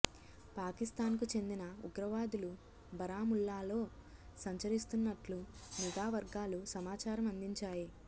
పాకిస్థాన్కు చెందిన ఉగ్రవాదులు బరాముల్లాలో సంచరిస్తున్నట్లు నిఘా వర్గాలు సమాచారం అందించాయి